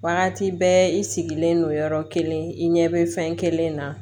Wagati bɛɛ i sigilen don yɔrɔ kelen i ɲɛ bɛ fɛn kelen na